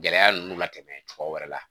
Gɛlɛya ninnu latɛmɛ cogoya wɛrɛ la